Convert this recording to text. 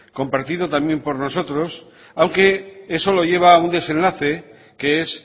compartido también por nosotros aunque eso lo lleva a un desenlace que es